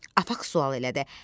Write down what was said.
Afəq sual elədi.